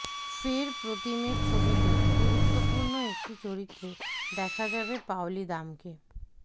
ফের প্রতীমের ছবিতে গুরুত্বপূর্ণ একটি চরিত্রে দেখা যাবে পাওলি দামকে